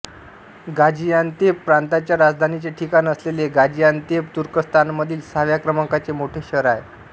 Gaziantep प्रांताच्या राजधानीचे ठिकाण असलेले गाझियान्तेप तुर्कस्तानमधील सहाव्या क्रमांकाचे मोठे शहर आहे